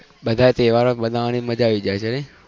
બધા તહેવાર મનાવાની મજા આઈ જાય છે